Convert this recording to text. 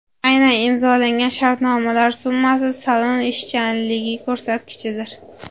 Aynan imzolangan shartnomalar summasi salon ishchanligi ko‘rsatkichidir.